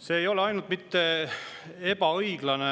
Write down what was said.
See ei ole ebaõiglane